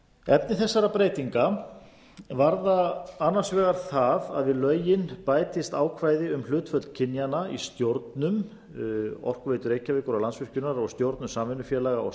efni þessara breytinga varða annars vegar það að við lögin bætist ákvæði um hlutföll kynjanna í stjórnum orkuveitu reykjavíkur og landsvirkjunar og stjórnum samvinnufélaga og